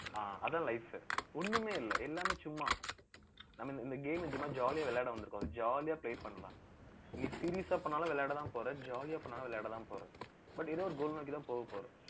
அஹ் அதான் life ஒண்ணுமே இல்லை எல்லாமே சும்மா. நம்ம இந்த game அ, சும்மா jolly ஆ விளையாட வந்திருக்கோம். jolly ஆ play பண்ணலாம் நீ serious ஆ பண்ணாலும் விளையாடத்தான் போற. jolly ஆ பண்ணாலும், விளையாடதான் போற. but ஏதோ ஒரு goal நோக்கிதான் போகப்போறோம்